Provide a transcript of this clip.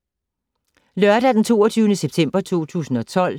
Lørdag d. 22. september 2012